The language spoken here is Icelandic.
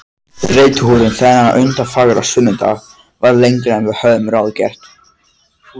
Reiðtúrinn þennan undurfagra sunnudag varð lengri en við höfðum ráðgert.